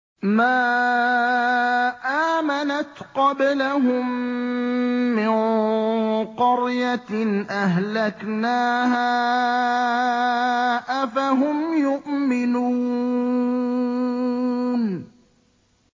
مَا آمَنَتْ قَبْلَهُم مِّن قَرْيَةٍ أَهْلَكْنَاهَا ۖ أَفَهُمْ يُؤْمِنُونَ